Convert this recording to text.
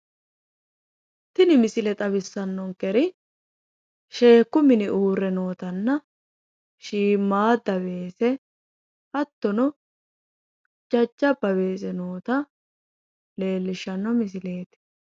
Tini misile xawissanonkeri sheekku mini uurre nootanna shiimaadda weese hattono hajjabba weese noota leellishshanno misileeti.